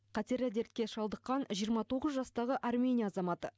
қатерлі дертке шалдыққан жиырма тоғыз жастағы армения азаматы